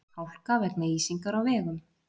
Hálka vegna ísingar á vegum